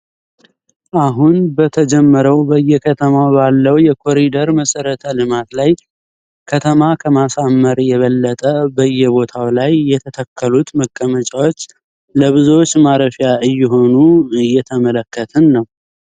አሁን በተጀመረው በየከተማው ባለው የኮሪደር መሰረተ ልማት ላይ ከተማ ከማሳመር የበለጠ በየቦታው ላይ የተተከሉት መቀመጫዎች ለብዙዎች ማረፊያ እየሆኑ እየተመለከትን ነው።